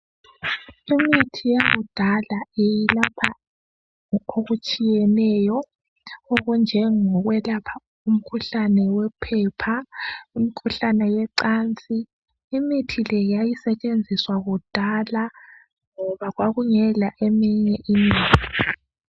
Imithi yakudala ilapha ngokokutshiyeneyo, okunje ngokwelapha umkhuhlane yophepha, imkhuhlane yecansi. Imithi le yayisetshenziswa kudala, ngoba kwakungela iminye imithi.